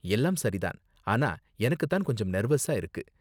எல்லாம் சரி தான், ஆனா எனக்கு தான் கொஞ்சம் நெர்வஸா இருக்கு.